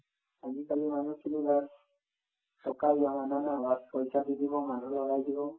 আজিকালিৰ মানুহখিনি bass টকা পইচা দি দিব মানুহ লগাই দিব